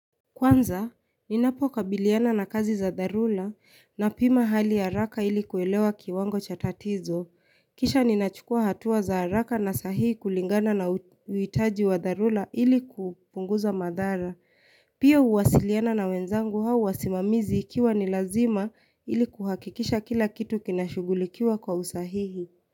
Kwanza, ninapo kabiliana na kazi za dharura napima hali haraka ili kuelewa kiwango cha tatizo. Kisha ninachukua hatua za haraka na sahihi kulingana na uhitaji wa dharura ili kupunguza madhara. Pia huwasiliana na wenzangu au wasimamizi ikiwa ni lazima ili kuhakikisha kila kitu kinashugulikiwa kwa usahihi.